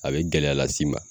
A bɛ gɛlɛya lasi ma.